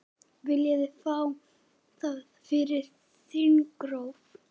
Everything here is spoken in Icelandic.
Viljið fá það fyrir þingrof?